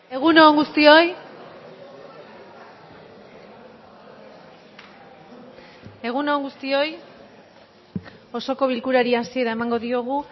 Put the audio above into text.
egun on guztioi egun on guztioi osoko bilkurari hasiera emango diogu